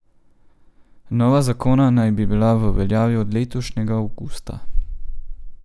Nova zakona naj bi bila v veljavi od letošnjega avgusta.